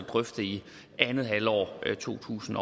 drøfte i andet halvår af to tusind